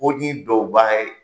o ye duwawuba ye.